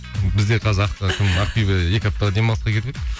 бізде қазір кім ақбибі екі аптаға демалысқа кетіп еді